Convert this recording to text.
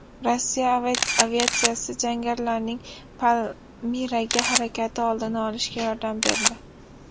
Rossiya aviatsiyasi jangarilarning Palmiraga harakati oldini olishga yordam berdi.